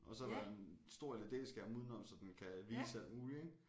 Og så er der en stor LED-skærm uden om så den kan vise alt muligt ik